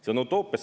See on utoopia!